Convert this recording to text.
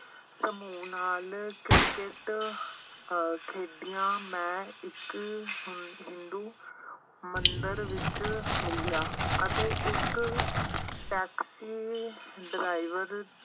ਸਮੂਹ ਨਾਲ ਕ੍ਰਿਕਟ ਅਹ ਖੇਡੀਆ ਮੈਂ ਇੱਕ ਹਿੰਦੂ ਮੰਦਿਰ ਵਿੱਚ ਮਿਲਿਆ ਅਤੇ ਇੱਕ ਟੈਕਸੀ ਡਰਾਈਵਰ